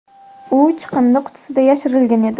U chiqindi qutisida yashirilgan edi.